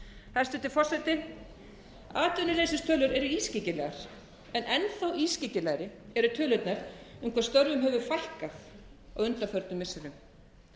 hæstvirtur forseti atvinnuleysistölur eru ískyggilegar en enn þá ískyggilegri eru tölurnar um hvað störfum hefur fækkað á undanförnum missirum